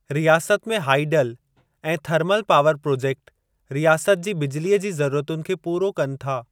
रियासत में हाईडल ऐं थर्मल पावर प्रोजेक्ट रियासत जी बिजिलीअ जी ज़रुरतुनि खे पोरो कनि था।